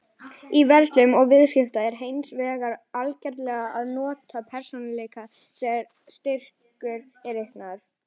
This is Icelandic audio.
Í verslun og viðskiptum er hins vegar algengara að nota prósentureikning þegar styrkur er reiknaður.